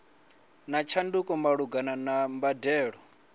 na tshanduko malugana na mbadelo